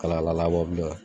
Kala kala labɔ